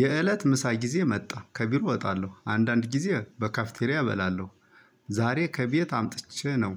የእለት ምሳ ጊዜ መጣ ከቢሮ እወጣለሁ አንዳንድ ጊዜ በካፊቴሪያ እበላለሁ። ዛሬ ከቤት አምጥቼ ነው።